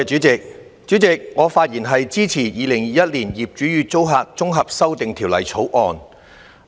主席，我發言支持《2021年業主與租客條例草案》。